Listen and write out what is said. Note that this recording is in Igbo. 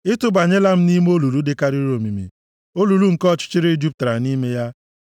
Ị tụbanyela m nʼime olulu dịkarịrị omimi, olulu nke ọchịchịrị jupụtara nʼime ya.